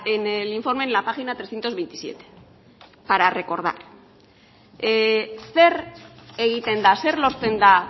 en el informe en la página trescientos veintisiete para recordar zer egiten da zer lortzen da